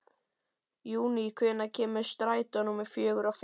Júní, hvenær kemur strætó númer fjörutíu og fimm?